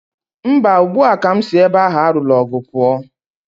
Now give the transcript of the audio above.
Mba, ugbu a ka m si ebe ahụ a lụrụ ọgụ pụọ.